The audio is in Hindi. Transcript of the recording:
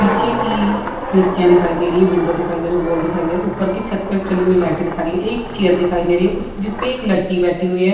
पीछे की खिड़कियाँ दिखाई दे रही है विंडो दिखाई दे रहें हैं वॉल दिखाई दे रहें हैं। ऊपर की छत पर जली हुई लाइटें दिखा रहीं हैं। एक चेयर दिखाई दे रही है उस जिसपे एक लड़की बैठी हुई है।